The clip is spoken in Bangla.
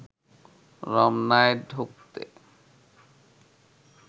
রমনায় ঢুকতে